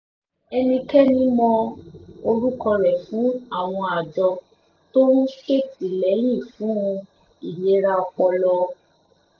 ẹnikẹ́ni mọ orúkọ rẹ̀ fún àwọn àjọ tó ń ṣètìlẹyìn fún ìlera ọpọlọ